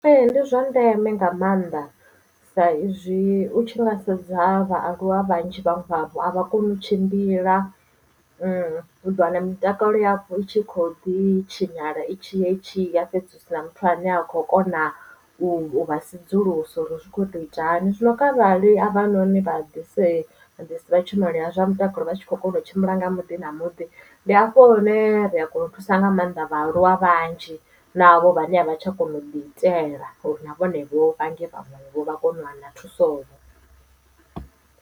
Ee ndi zwa ndeme nga maanḓa sa izwi u tshi nga sedza vhaaluwa vhanzhi vhaṅwe vhavho a vha koni u tshimbila uḓo wana mitakalo yavho itshi kho ḓi tshinyala itshiya itshiya fhedzi hu sina muthu ane a khou kona u vha sedzulusa uri zwi kho to ita hani zwino kharali a vha noni vha ḓisi vha tshumelo ya zwa mutakalo vha tshi kho kona u tshimbila nga muḓi na muḓi ndi hafho hune ri a kona u thusa nga maanḓa vhaaluwa vhanzhi na havho vhane a vha tsha kona u ḓi itela uri na vhone vho vhange vhaṅwevho vha kone u wana thuso vhoo.